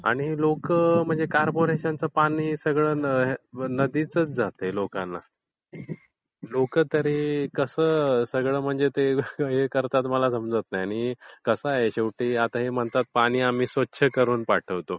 ते लोकं म्हणजे कॉर्पोरेशनच पाणी म्हणजे नदीच जातय लोकांना. लोकं तरी सगळं कसं हे करतात मला समजत नाही. आणि कसं आहे हे म्हणतात पाणी आम्ही स्वच्छ करून पाठवतो.